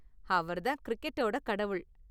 அவர் தான் 'கிரிக்கெட்டோட கடவுள்'.